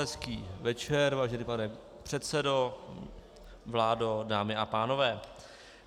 Hezký večer, vážený pane předsedo, vládo, dámy a pánové.